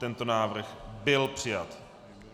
Tento návrh byl přijat.